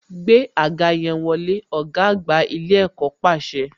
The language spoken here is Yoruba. Gbé àga yẹn wọlé, ọ̀gá àgbà ilé ẹ̀kọ́ pàṣẹ